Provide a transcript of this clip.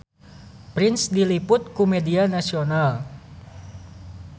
Prince diliput ku media nasional